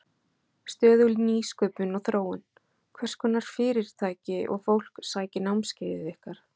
Stöðug nýsköpun og þróun Hverskonar fyrirtæki og fólk sækir námskeiðið ykkar?